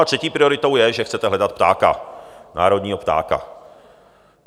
A třetí prioritou je, že chcete hledat ptáka, národního ptáka.